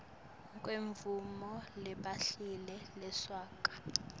kwemvumo lebhaliwe lesuka